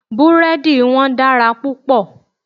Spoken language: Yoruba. Búrẹ́dì wọn dára púpọ̀.